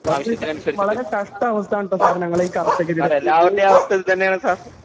ആവശ്യത്തിനനുസരിച്ചിട്ട് . അതെ എല്ലാവരുടേം അവസ്ഥ ഇതന്ന്യാണ് സാർ